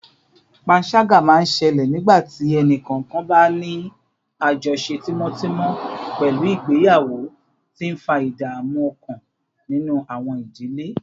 panṣaga máa ń ṣẹlẹ̀ nígbà tí ẹnì kọ̀ọ̀kan bá ní àjọṣe tímọ́tímọ́ pẹ̀lú ìgbéyàwó, tí ń fa ìdààmú ọkàn nínú àwọn ìdílé